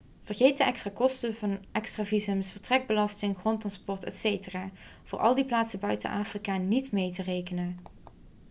vergeet de extra kosten van extra visums vertrekbelasting grondtransport etc voor al die plaatsen buiten afrika niet mee te rekenen